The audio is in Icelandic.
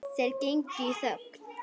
Þeir gengu í þögn.